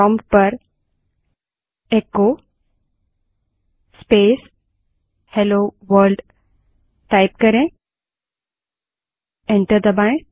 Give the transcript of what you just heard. prompt पर echo space hello world type करें और एंटर दबायें